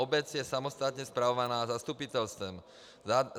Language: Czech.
Obec je samostatně spravovaná zastupitelstvem.